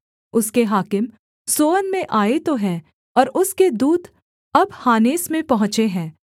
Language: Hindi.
उसके हाकिम सोअन में आए तो हैं और उसके दूत अब हानेस में पहुँचे हैं